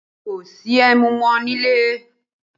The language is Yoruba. Kò sí ẹmu mọ́ nílẹ̀